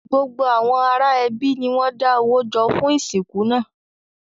Gbogbo àwọn ará ẹbí ni wọn má da owó jọ fún ìsìnkú náà.